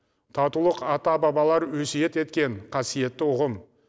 татулық ата бабалар өсиет еткен қасиетті ұғым